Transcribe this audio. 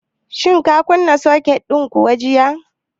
Shin ka kunna soket din kuwa jiya?